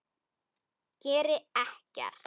Geri ekkert.